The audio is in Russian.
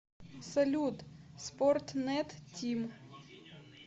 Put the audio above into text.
салют спортнет тим